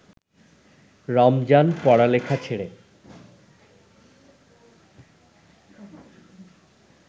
রমজান পড়ালেখা ছেড়ে